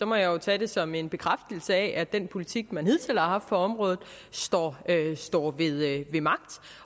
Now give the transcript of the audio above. må jeg jo tage det som en bekræftelse af at den politik man hidtil har haft på området står står ved magt